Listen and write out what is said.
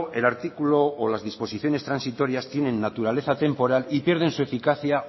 el artículo o las disposiciones transitorias tienen naturaleza temporal y pierden su eficacia